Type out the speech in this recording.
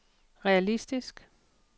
realistisk